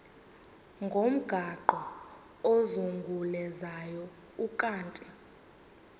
ngomgaqo ozungulezayo ukanti